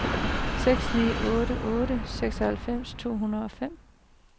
seks ni otte otte seksoghalvfems to hundrede og fem